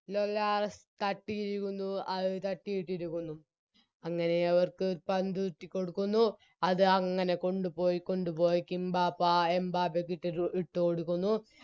മേലാസ്സ് തട്ടിയിരിക്കുന്നു അത് തട്ടിയിട്ടിരിക്കുന്നു അങ്ങനെ അവർക്ക് പന്തുരുട്ടി കൊടുക്കുന്നു അത് അങ്ങനെ കൊണ്ടുപോയി കൊണ്ടുപോയി കിംബപ്പാ എംബാപ്പക്കിട്ടൊരു ഇട്ട് കൊടുക്കുന്നു